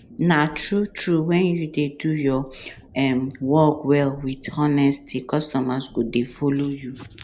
na true true when you dey do your um work well with honesty customers go dey follow you